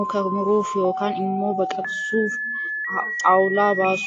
muka muruuf yookaan immoo baqaqasuun xaawulaa baasuuf ooludha.